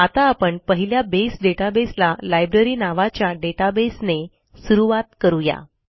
आता आपण पहिल्या बसे databaseला लायब्ररी नावाच्या databaseने सुरूवात करू या